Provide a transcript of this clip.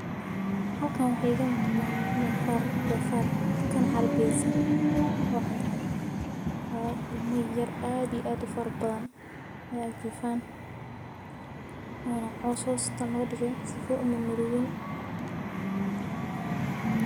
Halkan waxa iiga muqdaa donfar, kan carbiyeysan oo cadcad oo ilmo yaryar oo aad iyo aad u badan hos jifan. Ona lo cos hosta lo dhigay si uusan umarubin.